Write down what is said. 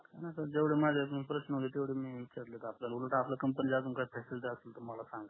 नाही जेवढे माझे प्रश्न होते तेवढे विचारले आपल्याकडून उलट आपल्या च्या सुविधा असतील तर मला सांगा